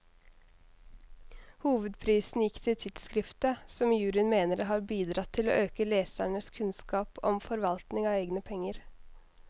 Hovedprisen gikk til tidskriftet, som juryen mener har bidratt til å øke lesernes kunnskap om forvaltning av egne penger.